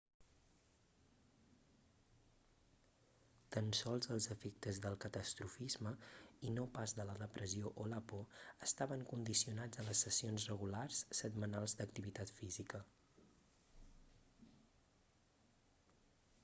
tan sols els efectes del catastrofisme i no pas de la depressió o la por estaven condicionats a les sessions regulars setmanals d'activitat física